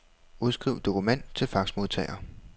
Udskriv dokument til faxmodtager.